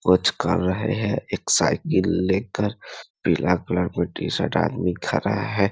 कुछ कर रहे हैं एक साइकिल लेकर पीला कलर टी-शर्ट आदमी खड़ा है ।